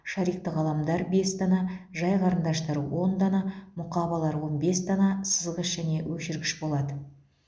шарикті қаламдар бес дана жай қарындаштар он дана мұқабалар он бес дана сызғыш және өшіргіш болады